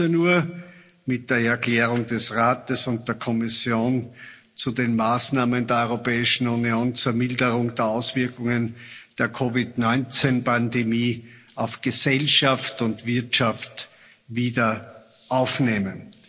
15.00 Uhr mit der Erklärung des Rates und der Kommission zu den Maßnahmen der Europäischen Union zur Milderung der Auswirkungen der COVID-19 Pandemie auf Gesellschaft und Wirtschaft wieder aufnehmen.